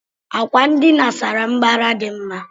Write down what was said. Àkwà ndina sárá mbara dị mma.